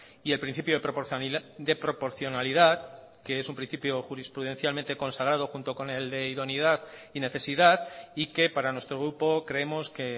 y el principio de proporcionalidad que es un principio jurisprudencialmente consagrado junto con el de idoneidad y necesidad y que para nuestro grupo creemos que